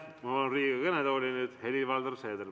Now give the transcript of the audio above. Ma palun Riigikogu kõnetooli Helir-Valdor Seederi.